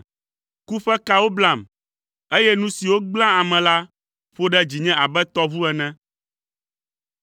Ku ƒe kawo blam, eye nu siwo gblẽa ame la ƒo ɖe dzinye abe tɔʋu ene.